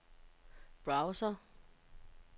browser